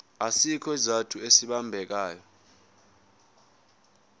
asikho isizathu esibambekayo